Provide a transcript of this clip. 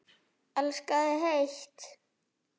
Elska þig heitt.